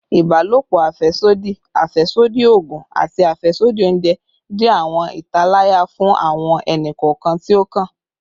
Ibalopo afẹsodi, afẹsodi oogun, ati afẹsodi ounjẹ jẹ awọn italaya fun awọn ẹni-kọọkan ti o kan